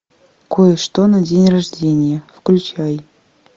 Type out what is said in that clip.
кое что на день рождения включай